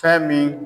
Fɛn min